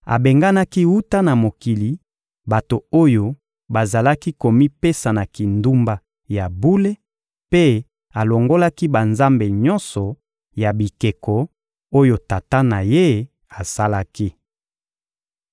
Abenganaki wuta na mokili, bato oyo bazalaki komipesa na kindumba ya bule, mpe alongolaki banzambe nyonso ya bikeko oyo tata na ye asalaki.